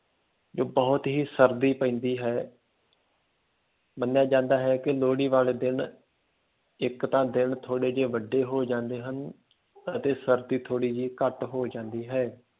ਬਹੁਤ ਹੀ ਸਰਦੀ ਪੈਂਦੀ ਹੈ ਮੰਨਿਆ ਜਾਂਦਾ ਹੈ ਕਿ ਲੋਹੜੀ ਵਾਲੇ ਦਿਨ ਇੱਕ ਤਾਂ ਦਿਨ ਥੋੜ੍ਹੇ ਜਿਹੇ ਵੱਡੇ ਹੋ ਜਾਂਦੇ ਹਨ ਅਤੇ ਸਰਦੀ ਥੋੜ੍ਹੀ ਜਿਹੀ ਘੱਟ ਹੋ ਜਾਂਦੀ ਹੈ।